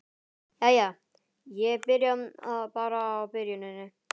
Jæja, ég byrja bara á byrjuninni.